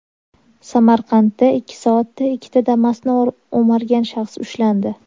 Samarqandda ikki soatda ikkita Damas’ni o‘margan shaxs ushlandi.